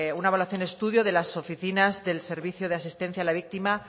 una evaluación estudio de las oficinas del servicio de asistencia a la víctima